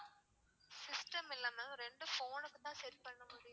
system இல்ல ma'am ரெண்டு phone னுக்குதான் set பண்ண முடியும்.